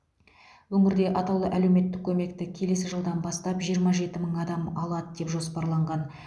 өңірде атаулы әлеуметтік көмекті келесі жылдан бастап жиырма жеті мың адам алады деп жоспарланған